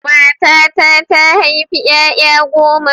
Matata ta haifi ƴaƴa goma.